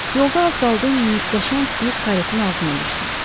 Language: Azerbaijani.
Yolda az qaldı qəşəng bir karetin altına düşsün.